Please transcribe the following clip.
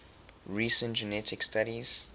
recent genetic studies